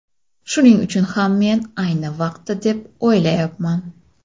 Shuning uchun ham men ayni vaqti deb o‘ylayapman.